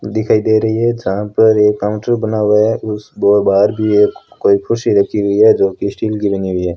दिखाई दे रही है जहां पर एक काउंटर बना हुआ है उस दो बाहर भी एक कोई खुशी रखी हुई है जो कि स्टील की लगी हुई है।